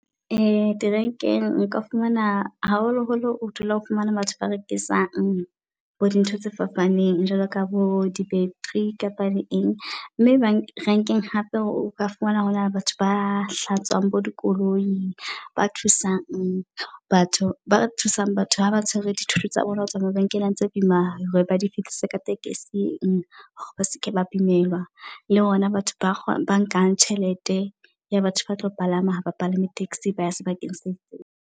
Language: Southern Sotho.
Di rank-eng nka fumana haholoholo o dula o fumana batho ba rekisang bo di ntho tse fapaneng. Jwalo ka bo di -battery kapa le eng mme bank rank-eng hape o ka fumana hore hona le batho ba hlatswang dikoloi ba thusang. Batho ba thusang batho ha ba tshwere dithoto tsa bona hotswa mabenkeleng tse boima hore ba di fihlise ka tekesing. Ba seke ba imelwa le hona batho ba ba nkang tjhelete ya batho ba tlo palama haba palame taxi baya sebakeng se itseng.